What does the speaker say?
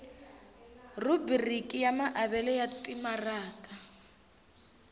rhubiriki ya maavelo ya timaraka